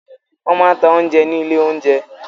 Wọ́n máa ń ta oúnjẹ ní ilé-oúnjẹ.